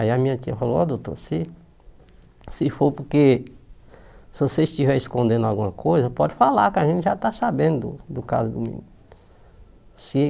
Aí a minha tia falou, ó doutor, se se for porque, se você estiver escondendo alguma coisa, pode falar que a gente já está sabendo do caso do menino. Se